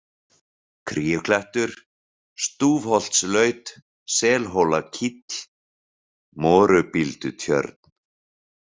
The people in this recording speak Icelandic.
Kríuklettur, Stúfholtslaut, Selhólakíll, Morubíldutjörn